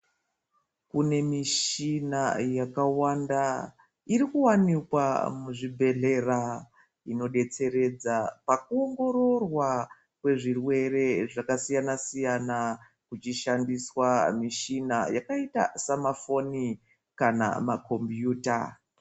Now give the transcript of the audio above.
Kune mishina yakawanda iri kuwanikwa muzvibhedhlera inodetsera pakuongororwa kwezvirwere zvakasiyana siyana kuchishandiswa michina yakaita semafoni nemakombiyuta.